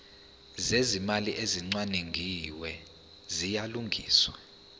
zezimali ezicwaningiwe ziyalungiswa